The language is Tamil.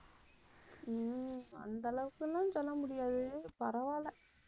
ஹம் அந்த அளவுக்கெல்லாம் சொல்ல முடியாது. பரவாயில்ல.